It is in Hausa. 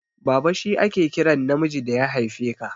Baba shi ake kiran namiji da ya haife ka.